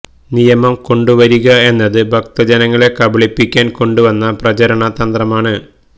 നിയമം കൊണ്ടുവരിക എന്നത് ഭക്തജനങ്ങളെ കബളിപ്പിക്കാന് കൊണ്ട് വന്ന പ്രചരണ തന്ത്രമാണ്